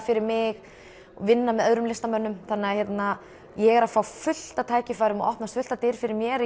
fyrir mig vinna með öðrum ég er að fá fullt af tækifærum og opnast fullt af dyrum fyrir mér